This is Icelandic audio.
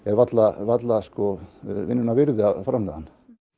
varla varla vinnunnar virði að framleiða hann